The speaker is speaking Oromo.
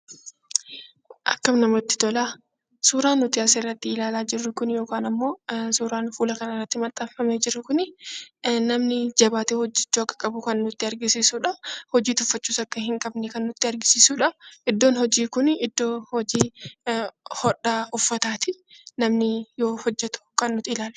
Akkam namatti tola! Suuraan nuti as irratti ilaallaa jiruu kun yookaan ammoo fuula kana irratti maxxaanfamee jiru kuni, namni jabaatee hojjechuu akka qabu kan nuti agarsisuudha. Hojii tuffachuus akka hin qabne kan nutti agarsiisuudha. Iddoo hojiin kun iddoo hodhaa uffataati. Namni yoo hojjetu kan nuti ilaallu.